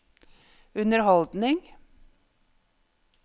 underholdning